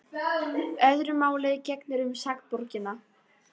Öðru máli gegnir um sakborningana.